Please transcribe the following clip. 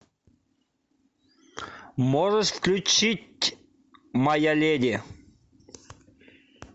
можешь включить моя леди